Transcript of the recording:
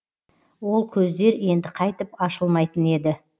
ол көздер енді қайтып ашылмайтын еді